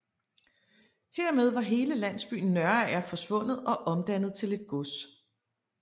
Hermed var hele landsbyen Nørager forsvundet og omdannet til et gods